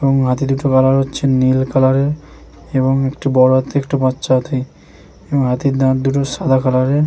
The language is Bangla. এবং হাতি দুটো দেখা যাচ্ছে নীল কালার এর এবং একটি বড় হাতি একটি বাচ্চা হাতি এবং হাতির দাঁত দুটি সাদা কালার এর।